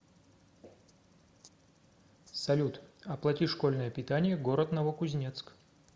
салют оплати школьное питание город новокузнецк